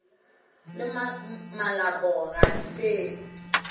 le malopo ga di fele